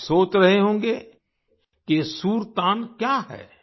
आप सोच रहे होंगे कि ये सुरतान क्या है